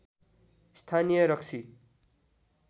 स्‍थानीय रक्सी